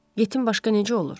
Yetim başqa necə olur?